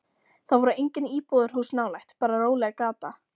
Það voru engin íbúðarhús nálægt, bara róleg gata.